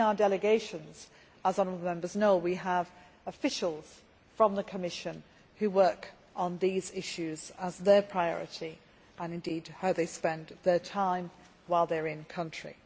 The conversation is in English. In our delegations, as the honourable Members know, we have officials from the Commission who work on these issues as their priority, and this is how they spend their time while they are in country.